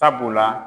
Sabula